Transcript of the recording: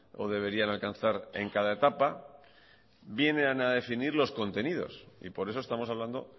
o deberían alcanzar en cada etapa vienen a definir los contenidos y por eso estamos hablando